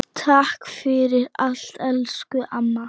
Takk fyrir allt elsku amma.